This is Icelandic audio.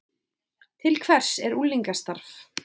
Til hvers er unglingastarf